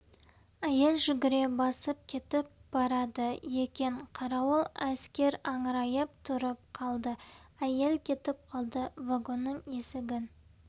әйел жүгіре басып кетіп барады екен қарауыл әскер аңырайып тұрып қалды әйел кетіп қалды вагонның есігін